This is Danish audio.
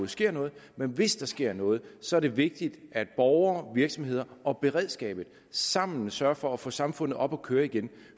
sker noget men hvis der sker noget så er det vigtigt at borgere virksomheder og beredskabet sammen sørger for at få samfundet op at køre igen